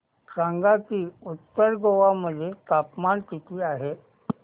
सांगा की उत्तर गोवा मध्ये तापमान किती आहे